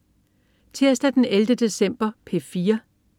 Tirsdag den 11. december - P4: